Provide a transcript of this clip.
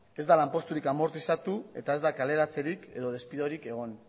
ez da lanposturik amortizatu eta ez da kaleratzerik edo despidorik egon